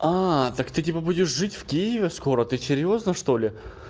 так ты типа будешь жить в киеве скоро ты серьёзно что ли